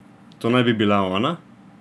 To naj bi bila Ona?